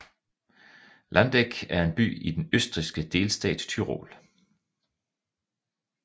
Landeck er en by i den østrigske delstat Tyrol